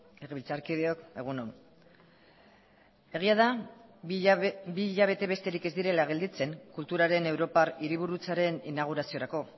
legebiltzarkideok egun on egia da bi hilabete besterik ez direla gelditzen kulturaren europar hiriburutzaren inauguraziorako